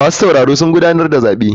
Masu sauraro sun gudanar da zabe.